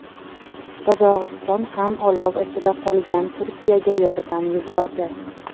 Qozog‘iston ham olov ichida qolgan Turkiyaga yordam yubordi.